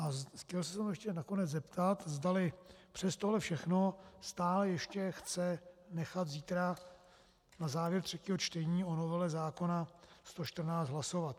A chtěl jsem se ještě nakonec zeptat, zdali přes tohle všechno stále ještě chce nechat zítra na závěr třetího čtení o novele zákona 114 hlasovat.